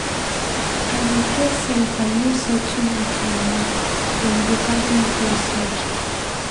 I dey fear sey if I no settle wit moni dem go carry me go cell.